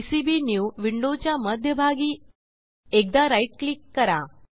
PCB new विंडोच्या मध्यभागी एकदा राईट क्लिक करा